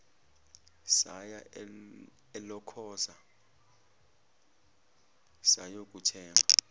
saya elokhoza sayokuthenga